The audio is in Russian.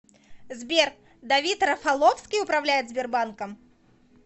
сбер давид рафаловский управляет сбербанком